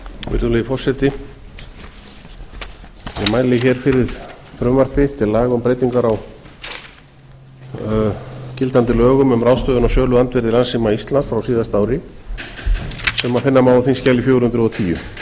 virðulegi forseti ég mæli fyrir frumvarpi til laga um breyting á gildandi lögum um ráðstöfun á söluandvirði landssíma íslands frá síðasta ári sem finna má á þingskjali fjögur hundruð og tíu